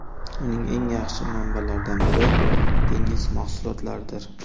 Uning eng yaxshi manbalaridan biri dengiz mahsulotlaridir.